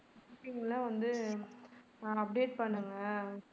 banking லாம் வந்து நான் update பண்ணுவேன்